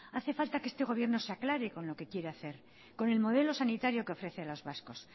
hace falta que este gobierno se aclare con lo que quiere hacer con el modelo sanitario que ofrece a los vascos